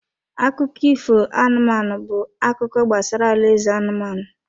Akụkọ ifo anụmanụ bụ akụkọ gbasara alaeze anụmanụ.